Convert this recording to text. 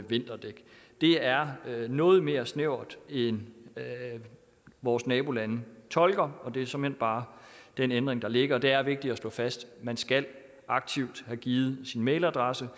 vinterdæk det er noget mere snævert end hvad vores nabolande tolker og det er såmænd bare den ændring der ligger og det er vigtigt at slå fast man skal aktivt have givet sin mailadresse